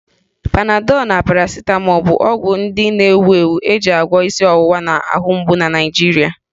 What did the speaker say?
Panadọ na Parasịtamọọ bụ ọgwụ ndị na-ewu ewu e ji agwọ isi ọwụwa na ahụmgbu na Naịjirịa